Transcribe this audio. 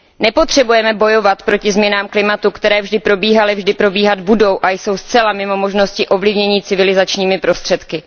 Nepotřebujeme bojovat proti změnám klimatu, které vždy probíhaly, vždy probíhat budou a jsou zcela mimo možnosti ovlivnění civilizačními prostředky.